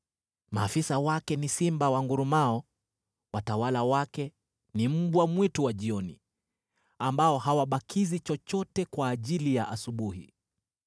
Maafisa wake ni simba wangurumao, watawala wake ni mbwa mwitu wa jioni, ambao hawabakizi chochote kwa ajili ya asubuhi.